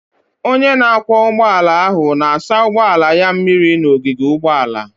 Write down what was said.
Onye na-akwọ ụgbọala ahụ na-asa ụgbọala ya mmiri n'ogige ụgbọala.